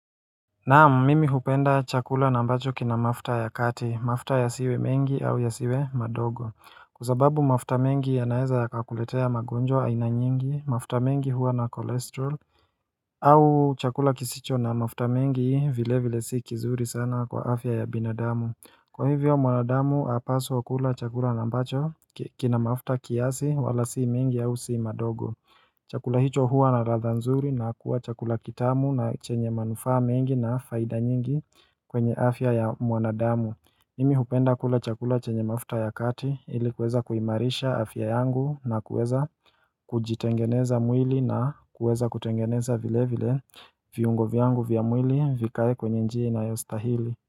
Naam mimi hupenda chakula na ambacho kina mafuta ya kati mafuta ya siwe mengi au ya siwe madogo Kwasababu mafuta mengi ya naeza ya kakuletea magonjwa aina nyingi mafuta mengi huwa na kolesterol au chakula kisicho na mafuta mengi vile vile si kizuri sana kwa afya ya binadamu Kwa hivyo mwanadamu hapaswa kula chakula na ambacho kina mafuta kiasi wala si mengi au si madogo Chakula hicho huwa na latha nzuri na kuwa chakula kitamu na chenye manufaa mengi na faida nyingi kwenye afya ya mwanadamu mimi hupenda kula chakula chenye mafuta ya kati ilikuweza kuimarisha afya yangu na kuweza kujitengeneza mwili na kuweza kutengeneza vile vile viungo vyangu vya mwili vikae kwenye njia ina yostahili.